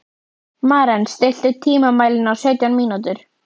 Maren, stilltu tímamælinn á sautján mínútur.